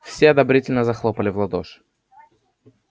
все одобрительно захлопали в ладоши